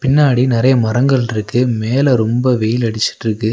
பின்னாடி நெறைய மரங்கள்ருக்கு மேல ரொம்ப வெயில் அடிச்சிட்ருக்கு.